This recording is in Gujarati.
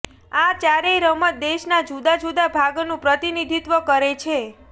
આ ચારેય રમત દેશના જુદા જુદા ભાગનું પ્રતિનિધિત્વ કરે છે